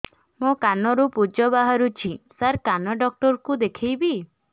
ମୋ କାନରୁ ପୁଜ ବାହାରୁଛି ସାର କାନ ଡକ୍ଟର କୁ ଦେଖାଇବି